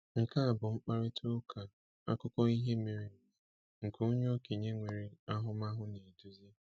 Nke a bụ mkparịta ụka akụkọ ihe mere eme, nke onye okenye nwere ahụmahụ na-eduzi.